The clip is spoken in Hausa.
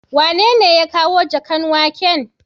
Wanene ya kawo jakan waken.?